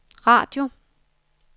radio